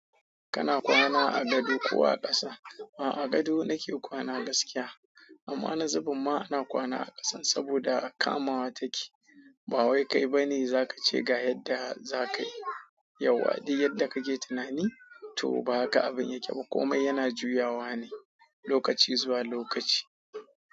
Kana kwana a gado ko a ƙasa? A gado nake kwana gaskiya amma na zubin ma ina kwana a ƙasa saboda kamawa take. Ba wai kai ba ne za ka ce ga yadda za ka yi yawwa, duk yadda kake tunani to ba haka abin yake ba. Komai yana juyawa ne lokaci zuwa lokaci.